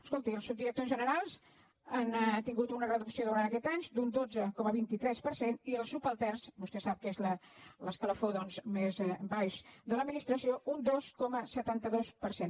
escolti els subdirectors generals han tingut una reducció durant aquests anys d’un dotze coma vint tres per cent i els subalterns vostè sap que és l’escalafó doncs més baix de l’administració un dos coma setanta dos per cent